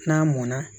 N'a mɔnna